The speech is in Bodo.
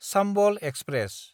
चाम्बल एक्सप्रेस